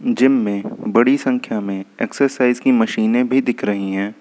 Gym में बड़ी संख्या में एक्सरसाइज की मशीनें भी दिख रही हैं।